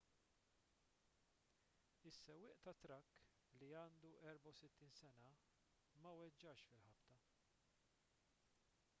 is-sewwieq tat-trakk li għandu 64 sena ma weġġax fil-ħabta